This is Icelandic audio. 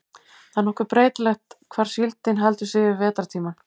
það er nokkuð breytilegt hvar síldin heldur sig yfir vetrartímann